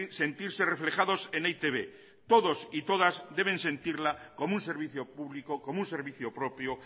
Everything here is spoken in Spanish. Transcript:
sentirse reflejados en e i te be todos y todas deben sentirla como un servicio público como un servicio propio